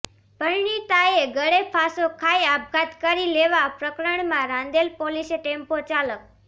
પરિણીતાએ ગળે ફાંસો ખાઇ આપઘાત કરી લેવાા પ્રકરણમાં રાંદેર પોલીસે ટેમ્પો ચાલક